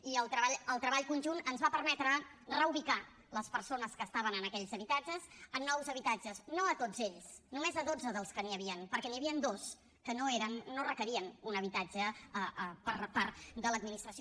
i el treball conjunt ens va permetre reubicar les persones que estaven en aquells habitatges en nous habitatges no a tots ells només a dotze dels que hi havien perquè n’hi havien dos que no requerien un habitatge per part de l’administració